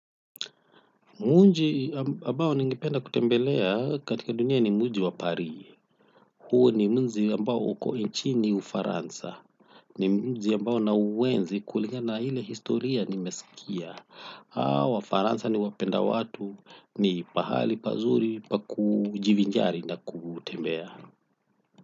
Mji ambao ningependa kutembelea katika dunia ni mji wa Parie. Huo ni mji ambao uko nchini Ufaransa. Ni mji ambao na uenzi kulingana na ile historia nimesikia. Hawa wafaransa ni wapenda watu ni pahali pazuri pakujivinjari na kutembea.